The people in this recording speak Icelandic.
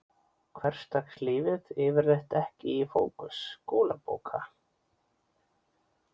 Hversdagslífið yfirleitt ekki í fókus skólabóka.